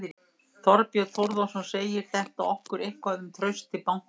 Þorbjörn Þórðarson: Segir þetta okkur eitthvað um traust til bankanna?